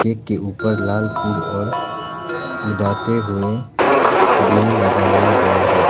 Cake के ऊपर लाल फूल और उड़ाते हुए दिल लगाए गए है।